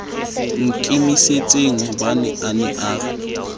nkimisitsenghobane a ne a re